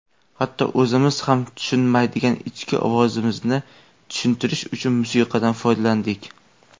"Hatto o‘zimiz ham tushunmaydigan ichki ovozimizni tushuntirish uchun musiqadan foydalandik.".